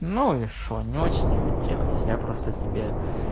но ещё не очень не хотелось я просто тебе